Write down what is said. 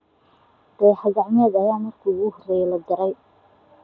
Dayax gacmeedkee ayaa markii ugu horeysay la diray?